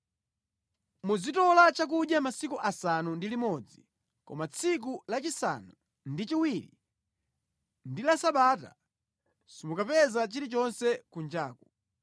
Muzitola chakudya masiku asanu ndi limodzi koma tsiku la chisanu ndi chiwiri ndi la Sabata, simukapeza chilichonse kunjaku.”